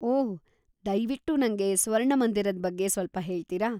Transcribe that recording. ಓಹ್, ದಯ್ವಿಟ್ಟು ನಂಗೆ ಸ್ವರ್ಣಮಂದಿರದ್‌ ಬಗ್ಗೆ ಸ್ವಲ್ಪ ಹೇಳ್ತಿರಾ?